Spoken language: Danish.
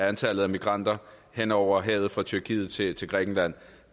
antallet af migranter hen over havet fra tyrkiet til til grækenland